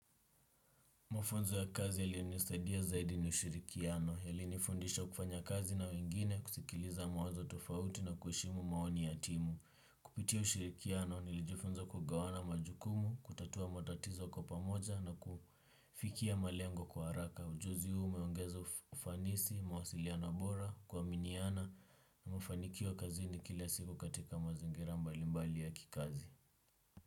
Mafunzo ya kazi yalinisadia zaidi ni ushirikiano, yalinifundisha kufanya kazi na wengine, kusikiliza mawazo tofauti na kuheshimu maoni ya timu. Kupitia ushirikiano, nilijifunza kugawana majukumu, kutatua matatizo kwa pamoja na kufikia malengo kwa haraka. Ujuzi huu umeongeza ufanisi, mawasiliano bora, kuaminiana na mafanikio kazini kila siku katika mazingira mbalimbali ya kikazi.